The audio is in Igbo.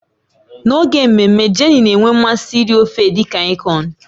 N'oge mmemme, Jenny na-enwe mmasị iri ofe edi kankon.